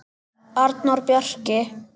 Arnór Bjarki.